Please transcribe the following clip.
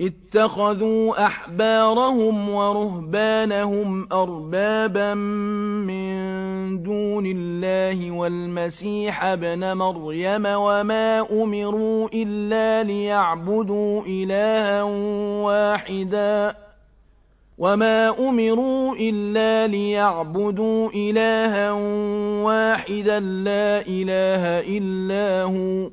اتَّخَذُوا أَحْبَارَهُمْ وَرُهْبَانَهُمْ أَرْبَابًا مِّن دُونِ اللَّهِ وَالْمَسِيحَ ابْنَ مَرْيَمَ وَمَا أُمِرُوا إِلَّا لِيَعْبُدُوا إِلَٰهًا وَاحِدًا ۖ لَّا إِلَٰهَ إِلَّا هُوَ ۚ